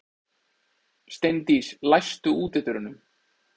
Steindís, læstu útidyrunum.